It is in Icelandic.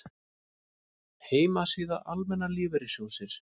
Heimasíða Almenna lífeyrissjóðsins